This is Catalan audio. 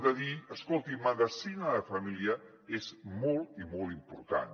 de dir escolti medicina de família és molt i molt important